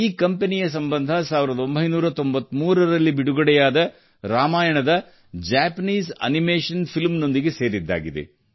ಈ ಕಂಪೆನಿಯ ಸಂಬಂಧ 1993 ರಲ್ಲಿ ಬಿಡುಗಡೆಯಾದ ರಾಮಾಯಣದ ಜಪಾನೀಸ್ ಅನಿಮೇಷನ್ ಫಿಲ್ಮ್ ನೊಂದಿಗೆ ಸೇರಿದ್ದಾಗಿದೆ